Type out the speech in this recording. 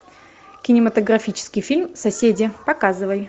кинематографический фильм соседи показывай